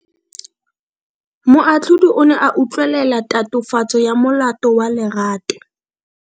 Moatlhodi o ne a utlwelela tatofatso ya molato wa Lerato.